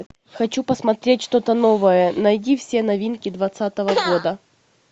хочу посмотреть что то новое найди все новинки двадцатого года